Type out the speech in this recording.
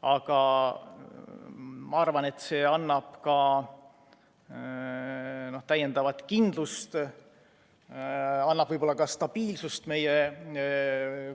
Aga ma arvan, et see annab täiendavat kindlust, annab võib-olla ka stabiilsust meie